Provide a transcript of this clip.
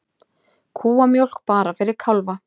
Kúamjólk bara fyrir kálfa